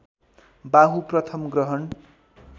बाहु प्रथम ग्रहण